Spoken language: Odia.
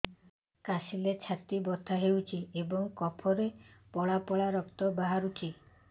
କାଶିଲେ ଛାତି ବଥା ହେଉଛି ଏବଂ କଫରେ ପଳା ପଳା ରକ୍ତ ବାହାରୁଚି